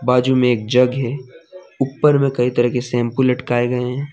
बाजू मे एक जग है। ऊपर मे कई तरह के शैंपू लटकाए गए हैं।